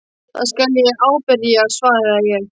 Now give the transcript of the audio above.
Það skal ég ábyrgjast svaraði ég.